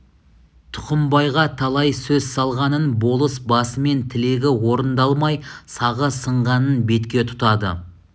тұқымбайға талай сөз салғанын болыс басымен тілегі орындалмай сағы сынғанын бетке тұтады